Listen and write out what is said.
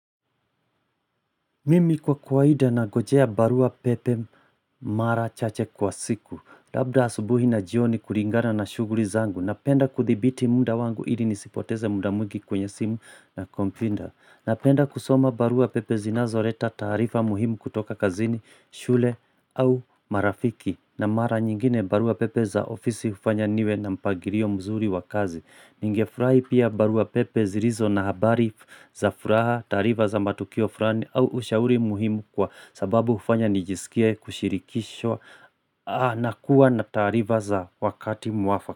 Mimi kwa kawaida nangojea barua pepe mara chache kwa siku Labda asubuhi na jioni kulingana na shughuli zangu Napenda kudhibiti muda wangu ili nisipoteze muda mwingi kwenye simu na kompyuta Napenda kusoma barua pepe zinazoleta taarifa muhimu kutoka kazini, shule au marafiki na mara nyingine barua pepe za ofisi hufanya niwe na mpangilio mzuri wa kazi Ningefurahi pia barua pepe zilizo na habari za furaha taarifa za matukio fulani au ushauri muhimu kwa sababu hufanya nijisikie kushirikishwa na kuwa na taarifa za wakati mwafaka.